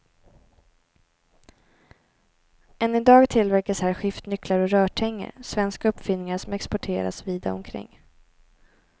Än i dag tillverkas här skiftnycklar och rörtänger, svenska uppfinningar som exporteras vida omkring.